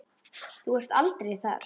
Þér getur ekki verið alvara.